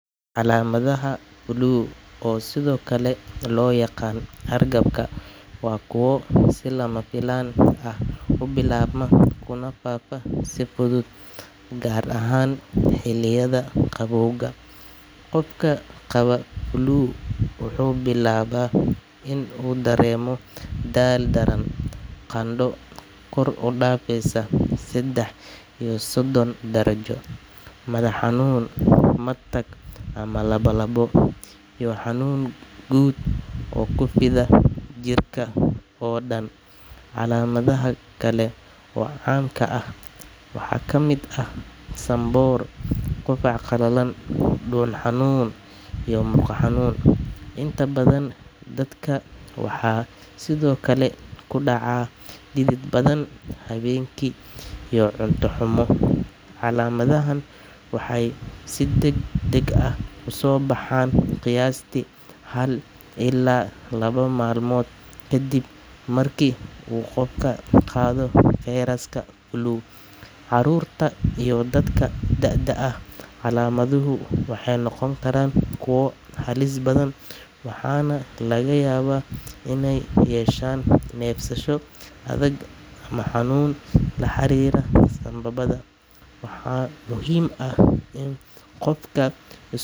Calaamadaha flu, oo sidoo kale loo yaqaan hargabka, waa kuwo si lama filaan ah u bilaabma kuna faafa si fudud, gaar ahaan xilliyada qabowga. Qofka qaba flu wuxuu bilaabaa inuu dareemo daal daran, qandho kor u dhaafeysa saddex iyo soddon darajo, madax xanuun, matag ama lalabo, iyo xanuun guud oo ku fida jirka oo dhan. Calaamadaha kale ee caamka ah waxaa ka mid ah sanboor, qufac qalalan, dhuun xanuun, iyo murqo xanuun. Inta badan, dadka waxaa sidoo kale ku dhaca dhidid badan habeenkii iyo cunto xumo. Calaamadahan waxay si degdeg ah u soo baxaan qiyaastii hal ilaa laba maalmood kadib marka uu qofku qaado fayraska flu. Carruurta iyo dadka da’da ah, calaamaduhu waxay noqon karaan kuwo halis badan, waxaana laga yaabaa inay yeeshaan neefsasho adag ama xanuun la xiriira sanbabada. Waxaa muhiim ah in qofka.